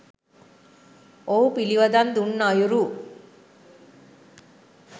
ඔහු පිළිවදන් දුන් අයුරු